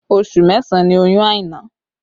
Oṣù mẹ́sàn ni oyún Aina